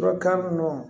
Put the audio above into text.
Dɔnkan